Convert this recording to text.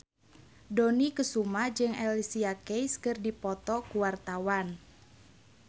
Dony Kesuma jeung Alicia Keys keur dipoto ku wartawan